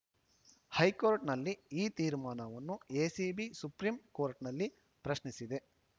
ಹೈಕೋರ್ಟ್‌ನ ಈ ತೀರ್ಮಾನವನ್ನು ಎಸಿಬಿ ಸುಪ್ರೀಂ ಕೋರ್ಟ್‌ನಲ್ಲಿ ಪ್ರಶ್ನಿಸಿದೆ